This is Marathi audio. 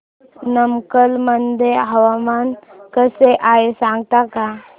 नमक्कल मध्ये हवामान कसे आहे सांगता का